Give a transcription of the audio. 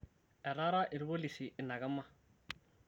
Etaara ilpolisi ina kima